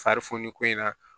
Fari foni ko in na